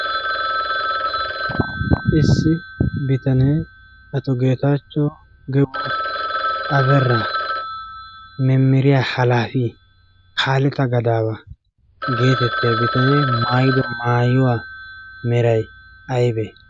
issi bitanee ato geetaachcho gebo abera memiriya halaafi kaaleta gadaawa' geetettiyaa bitanee maayido maayuwaa meray aybbee?